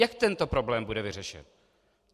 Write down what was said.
Jak tento problém bude vyřešen?